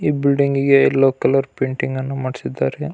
ಈ ಬಿಲ್ಡಿಂಗ್ ಗಿಗೆ yellow colour painting ಅನ್ನು ಮಾಡಿಸಿದ್ದಾರೆ.